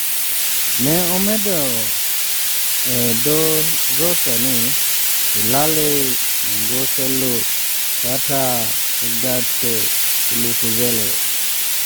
"Ne omedo e dho Xhosa ni, ""Ulale ngoxolo Tata ugqatso ulufuzele."""